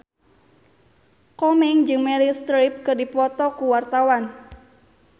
Komeng jeung Meryl Streep keur dipoto ku wartawan